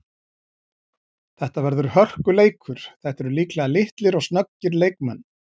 Þetta verður hörkuleikur, þetta eru líklega litlir og snöggir leikmenn.